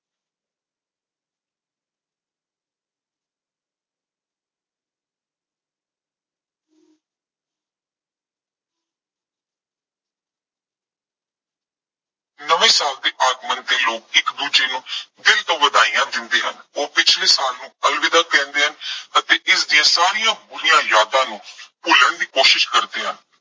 ਨਵੇਂ ਸਾਲ ਦੇ ਆਗਮਨ ਤੇ ਲੋਕ ਇੱਕ ਦੂਜੇ ਨੂਮ ਦਿਲ ਤੋਂ ਵਧਾਈਆ ਦਿੰਦੇ ਹਨ। ਉਹ ਪਿਛਲੇ ਸਾਲ ਨੂੰ ਅਲਵਿਦਾ ਕਹਿੰਦੇ ਹਨ ਅਤੇ ਇਸ ਦੀਆਂ ਸਾਰੀਆਂ ਪੂਰੀਆਂ ਯਾਦਾਂ ਨੂੰ ਭੁੱਲਣ ਦੀ ਕੋਸ਼ਿਸ਼ ਕਰਦੇ ਹਨ।